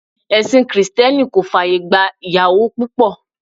Ẹ̀sìn Krìsìtẹ́nì kò fàyè gba ìyàwó púpọ̀.